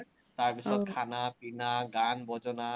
তাৰ পিচত খানা-পিনা, গান-বজনা